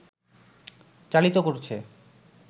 চালিত করছে